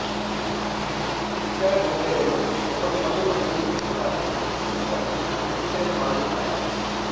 ಇತರ ಗೊಂಬೆಗಳು ಅವರು ಮೊದಲು ಖರೀದಿಸಿದಾಗ ಗುಂಪನ್ನು ಕೀಟಲೆ ಮಾಡುತ್ತಾರೆ